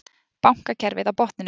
Bankakerfið á botninum